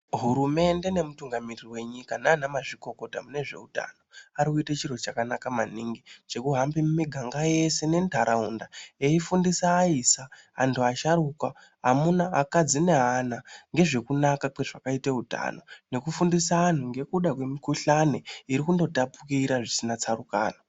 Hurumende nemutungamiri wenyika naanamazvikokota mune zveutano ari kuite chiro chakanaka maningi chekuhambe mumiganga yese nentaraunda eyifundisa aisa, antu asharukwa, amuna, akadzi neana ngezvekunaka kwezvakaite utano, ngekufundise antu ngekuda kwemikuhlani iri kundotapukira zvisina tsarukano.